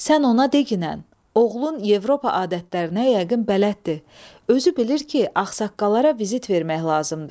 Sən ona deqinən, oğlun Yevropa adətlərinə yəqin bələddir, özü bilir ki, ağsaqqallara vizit vermək lazımdır.